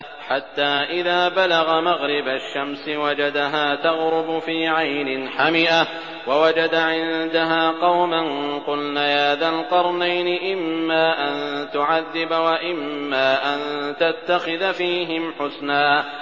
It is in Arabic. حَتَّىٰ إِذَا بَلَغَ مَغْرِبَ الشَّمْسِ وَجَدَهَا تَغْرُبُ فِي عَيْنٍ حَمِئَةٍ وَوَجَدَ عِندَهَا قَوْمًا ۗ قُلْنَا يَا ذَا الْقَرْنَيْنِ إِمَّا أَن تُعَذِّبَ وَإِمَّا أَن تَتَّخِذَ فِيهِمْ حُسْنًا